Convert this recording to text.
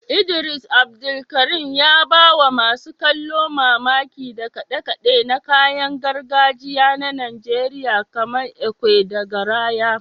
Idris Abdulkarim, ya ba wa masu kallo mamaki da kade-kade na kayan gargajiya na Najeriya kamar ekwe da garaya.